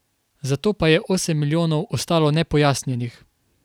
Zato pa je osem milijonov ostalo nepojasnjenih.